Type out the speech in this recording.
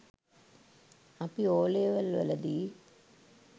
අපි ඕලෙවල් වලදී